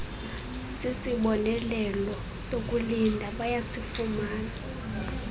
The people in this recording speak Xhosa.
sisibonelelo sokulinda bayasifumana